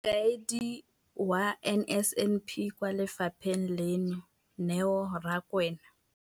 Mokaedi wa NSNP kwa lefapheng leno, Neo Rakwena.